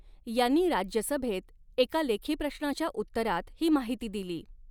यांनी राज्यसभेत एका लेखी प्रश्ऩाच्या उत्तरात ही माहिती दिली.